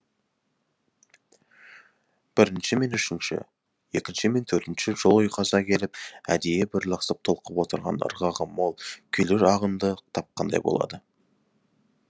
бірінші мен үшінші екінші мен төртінші жол ұйқаса келіп әдейі бір лықсып толқып отырған ырғағы мол күйлі ағынды тапқандай болады